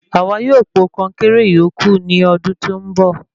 Àwa yóò po konkéré ìyókù ní ọdún tí ó ń bọ̀